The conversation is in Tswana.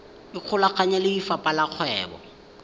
ikgolaganye le lefapha la kgwebo